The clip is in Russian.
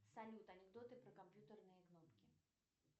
салют анекдоты про компьютерные кнопки